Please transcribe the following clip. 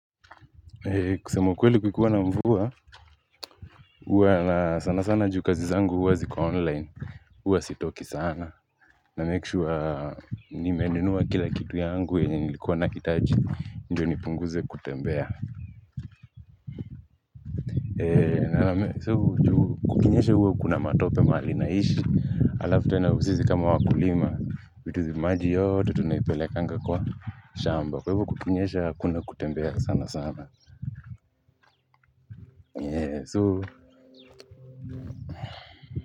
Kusema ukweli kukiwa na mvua huwa sana sana juu kazi zangu huwa ziko online huwa sitoki sana na make sure nimenunua kila kitu yangu yenye nilikuwa nahitaji ndiyo nipunguze kutembea. Kukinyesha huwa kuna matope mahali naishi alafu tena usizi kama wakulima. Mituzi maji yote tunaipele kanga kwa shamba kwa hivo kukinyesha hakuna kutembea sana sana eeh so.